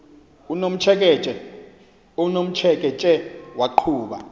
unomtsheke tshe waqhuba